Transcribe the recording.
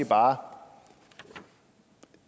bare om